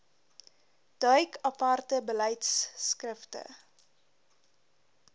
duik aparte beleidskrifte